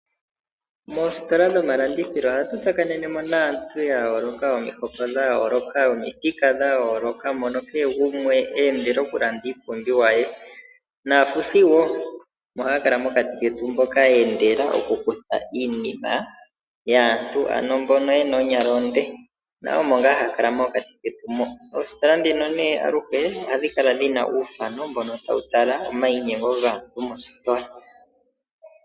Moositola dhomalandithilo ohatu tsakanene mo naantu ya yooloka yomihoko dha yooloka, yomithika dha yooloka mono kehe gumwe eendela okulanda iipumbiwa ye, naafuthi wo omo haya kala mokati ketu mboka ye endela okukutha iinima yaantu, ano mbono ye na oonyala oondema, nayo omo ngaa ha kala mokati ketu mo. Moositola ndino aluhe ohadhi kala dhi na uuthano, mbono tawu tala omayinyengo gaantu mositola.